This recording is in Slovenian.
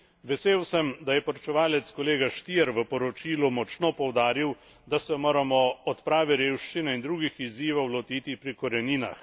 Vesel sem, da je poročevalec kolega Stier v poročilu močno poudaril, da se moramo odprave revščine in drugih izzivov lotiti pri koreninah.